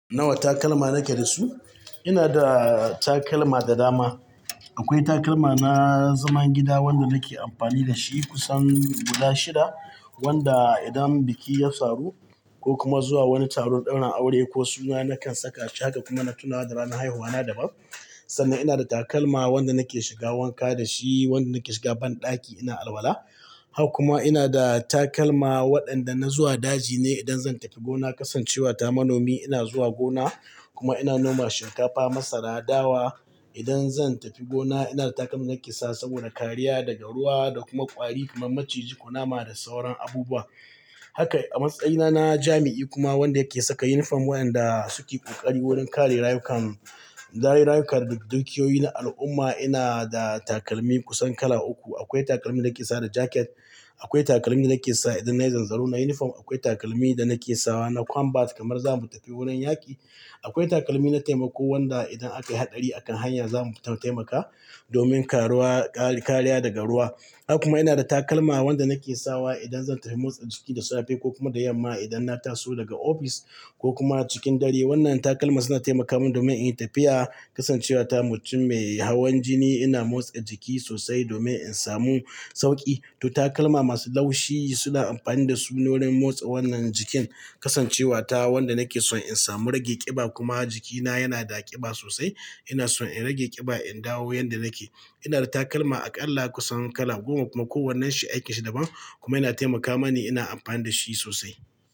Nawa takalma na ke da su? Ina da takalma da dama. Akwai takalma na zaman gida wanda na ke amfani da shi kusan guda shida wanda idan biki ya samu ko kuma zuwa wani taron ɗaurin aure ko suna na kan saka shi. Haka kuma na tunawa da ranar haihuwa na daban. Sannan ina da takalma wanda na ke shiga wanka da shi wanda na ke shiga banɗaki ina alwala. Haka kuma ina da takalma waɗanda na zuwa daji ne idan zan tafi gona kasancewa ta manomi ina zuwa gona kuma ina noma shinkafa, masara, dawa. Idan zan tafi gona ina da takalmin nake sa saboda kariya daga ruwa da kuma ƙwari kamar maciji ko nama da sauran abubuwa. Haka a matsayina na jami'i kuma wanda yake saka yunifom waɗanda suke ƙoƙari wurin kare rayukan, rayuka da dukiyoyi na al'umma ina da takalmi kusan kala uku. Akwai takalmin da nike sawa da jacket Akwai takalmi da nake sawa idan nayi zanzaro na yunifom. Akwai takalmi da nake sawa na combas kamar zamu tafi gona inyi yaƙi. Akwai takalmi na taimako wanda idan aka yi haɗari a kan hanya zamu taimaka domin karuwa, ƙariya daga ruwa. Haka kuma ina da takalma wanda nake sawa idan zan tafi motsa jiki da safe ko kuma da yamma idan na taso daga office ko kuma cikin dare. Wannan takalma suna taimaka min domin in yi tafiya kasancewa ta mutum mai hawan jini ina motsa jiki sosai domin in samu sauƙi. To takalma masu laushi suna amfani da su wurin motsa wannan jikin kasancewa ta wanda nake son in samu rage ƙiba kuma jikina yana da ƙiba sosai ina son in rage ƙiba, in dawo yanda nake. Ina da takalma aƙalla kusan kala goma kuma kowannen shi aikin shi daban kuma yana taimaka mani ina amfani da shi sosai.